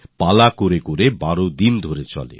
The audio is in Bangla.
পালা করে হয় আর ১২ দিন ধরে চলে